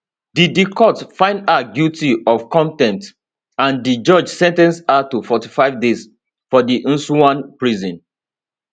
di di court find her guilty of contempt and di judge sen ten ce her to 45 days for di nsawam prison